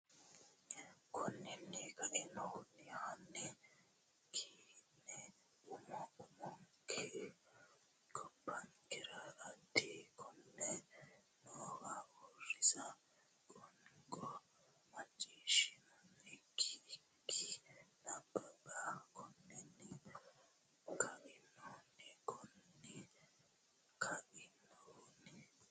Konninni kainohunni hanni ki ne umu umunku gobbankera dhibba konne noowa uuriisa qoonqo macciishshiishshini ikki nabbabbe Konninni kainohunni Konninni kainohunni.